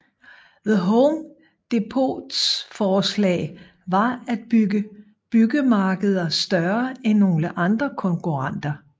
The Home Depots forslag var at bygge byggemarkeder større end nogle andre konkurrenter